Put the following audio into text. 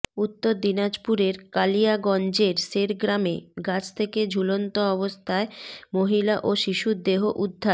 উত্তর দিনাজপুরের কালিয়াগঞ্জের শেরগ্রামে গাছ থেকে ঝুলন্ত অবস্থায় মহিলা ও শিশুর দেহ উদ্ধার